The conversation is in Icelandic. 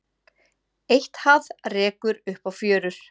Eitthað rekur upp á fjörur